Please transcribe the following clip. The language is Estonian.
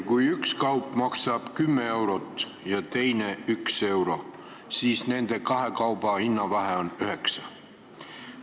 Kui üks kaup maksab 10 eurot ja teine 1 euro, siis nende kahe kauba hinnavahe on 9 eurot.